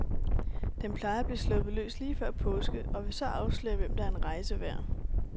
Den plejer at blive sluppet løs lige før påske, og vil så afsløre, hvem der er en rejse værd.